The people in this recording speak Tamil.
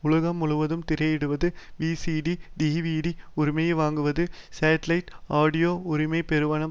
உலகம் முழுவதும் திரையிடுவது விசிடி டிவிடி உரிமையை வாங்குவது சேட்டிலைட் ஆடியோ உரிமை பெறுவது